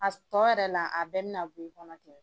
A tɔ yɛrɛ la a bɛ bɛna bɛ i kɔnɔ cɛ.